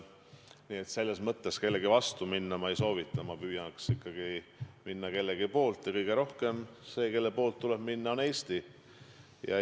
Nii et selles mõttes kellegi vastu minna ma ei soovita, ma püüaks ikkagi olla kellegi poolt ja kõige rohkem tuleb olla Eesti poolt.